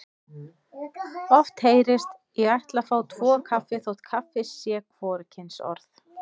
Oft heyrist: Ég ætla að fá tvo kaffi þótt kaffi sé hvorugkynsorð.